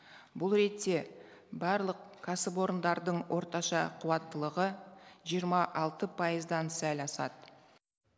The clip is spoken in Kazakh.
бұл ретте барлық кәсіпорындардың орташа қуаттылығы жиырма алты пайыздан сәл асады